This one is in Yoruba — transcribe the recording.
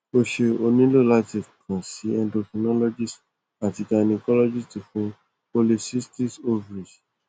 o ṣé o nilo lati kan si endocrinologist ati gynacologist fun polycystic overies